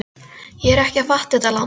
Ég er ekki að fatta þetta land.